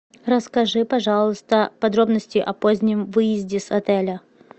расскажи пожалуйста подробности о позднем выезде с отеля